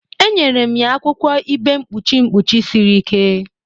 Enyere m ya akwụkwọ ibe mkpuchi mkpuchi siri ike m.